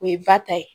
O ye ba ta ye